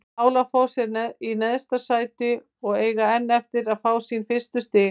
Álafoss er í neðsta sæti og eiga enn eftir að fá sín fyrstu stig.